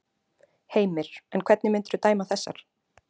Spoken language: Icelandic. Heimir: En hvernig myndirðu dæma þessar?